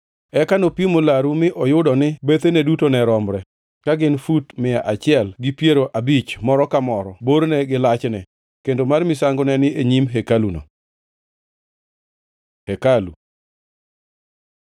Eka nopimo laruno mi oyudo ni bethene duto ne romre, ka gin gi fut mia achiel gi piero abich moro ka moro borne gi lachne. Kendo mar misango ne ni e nyim hekaluno. Hekalu